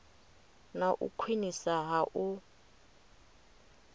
na u khwiniswa ha u